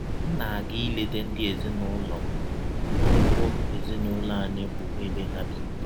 M na - aga ileta ndị ezinụlọ m n’ụgbọ ezinụlọ anyị bụ́ ebe ha bi.